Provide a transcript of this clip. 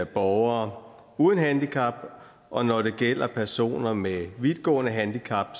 borgere uden handicap og når det gælder personer med vidtgående handicap